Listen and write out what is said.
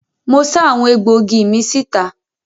Mo sá àwọn egbòogi mi síta.